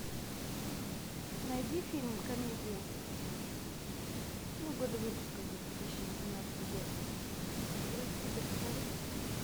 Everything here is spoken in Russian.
найди фильм комедию ну года выпуска за две тысячи восемнадцатый год открой список покажи